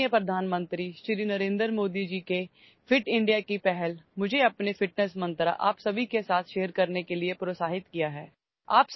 माननीय पंतप्रधान नरेंद्र मोदी यांच्या फिट इंडिया उपक्रमाने मला माझा आरोग्याचा मंत्र तुम्हा सर्वांसोबत शेअर करण्यास प्रोत्साहित केले आहे